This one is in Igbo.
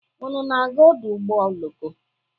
Unu na-aga ọdụ ụgbọ oloko?